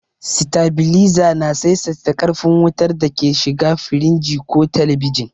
Sitabiliza na saisaita ƙarfin wutar da ke shiga firinji ko telebijin.